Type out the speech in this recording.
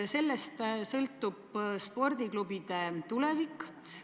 Sellest sõltub spordiklubide tulevik.